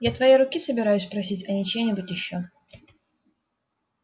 я твоей руки собираюсь просить а не чьей-нибудь ещё